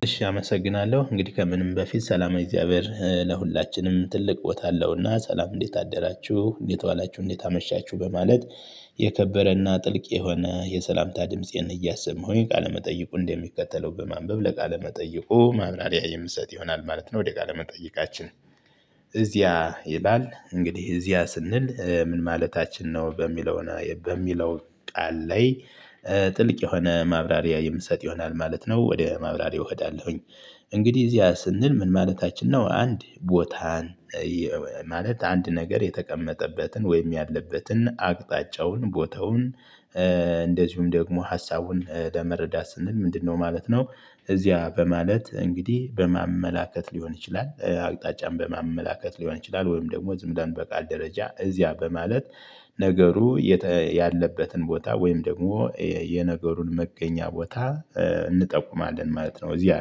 እሺ አመሰግናለሁ እንግዲህ ከምንም በፊት ሰላማዊ እግዚአብሔር ለሁላችንም ትልቅ ቦታ አለውና ሰላም እንዴት አደራችሁ እንዴት ዋላችሁ እንዴት አመሻችሁ በማለት የከበረና ጥልቅ የሆነ የሰላምታ ድምፄን እያሰማሁኝ ቃለመጠይቁን እንደሚከተለው በማንበብ ለቃለመጠይቁ ማብራሪያ የምሰጥ ይሆናል ማለት ነው። ወደ ቃለመጠይቃችን እዚያ ይላል እንግዲህ እዚያ ስንል ምን ማለታችን ነው? በሚለው በሚለው ቃል ላይ ጥልቅ የሆነ ማብራሪያ የምሰጥ ይሆናል ማለት ነው። ወደ ማብራሪያ እሄዳለሁኝ። እንግዲህ እዚያ ስንል ምን ማለታችን ነው? አንድ ቦታን ማለት አንድ ነገር የተቀመጠበትን ወይም ያለበትን አቅጣጫውን ቦታውን። እንደዚሁም ደግሞ ሀሳቡን ለመረዳት ስንል ምንድነው ማለት ነው? እዚያ በማለት እንግዲህ በማመላከት ሊሆን ይችላል አቅጣጫም በማመላከት ሊሆን ይችላል ወይም ደግሞ ዝም ብለን በቃል ደረጃ እዚያ በማለት። ነገሩ ያለበትን ቦታ ወይም ደግሞ የነገሩን መገኛ ቦታ እንጠቁማለን ማለት ነው። እዚያ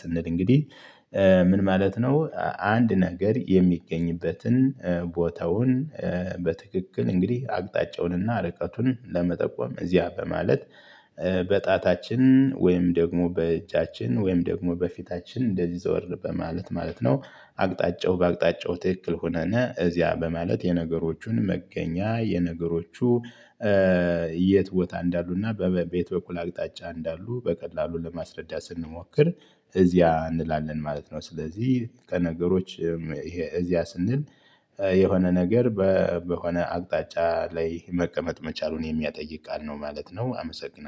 ስንል እንግዲህ ምን ማለት ነው? አንድ ነገር የሚገኝበትን ቦታውን። በትክክል እንግዲህ አቅጣጫውንና ርቀቱን ለመጠቆም እዚያ በማለት። በጣታችን ወይም ደግሞ በእጃችን ወይም ደግሞ በፊታችን እንደዚህ ዘወር በማለት ማለት ነው። አቅጣጫው በአቅጣጫው ትክክል ሁነነ እዚያ በማለት የነገሮቹን መገኛ የነገሮቹ። የት ቦታ እንዳሉና በየት በኩል አቅጣጫ እንዳሉ በቀላሉ ለማስረዳት ስንሞክር። እዚያ እንላለን ማለት ነው። ስለዚህ ከነገሮች ይሄ እዚያ ስንል። የሆነ ነገር በሆነ አቅጣጫ ላይ መቀመጥ መቻሉን የሚያጠይቅ ቃል ነው ማለት ነው። አመሰግናለሁ